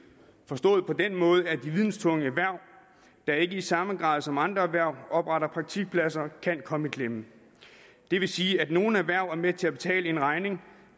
forstået på den måde at de videntunge erhverv der ikke i samme grad som andre erhverv opretter praktikpladser kan komme i klemme det vil sige at nogle erhverv er med til at betale en regning